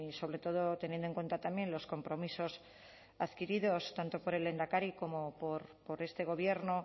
sobre todo teniendo en cuenta también los compromisos adquiridos tanto por el lehendakari como por este gobierno